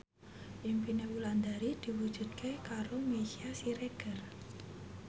impine Wulandari diwujudke karo Meisya Siregar